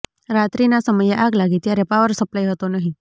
રાત્રિના સમયે આગ લાગી ત્યારે પાવર સપ્લાય હતો નહીં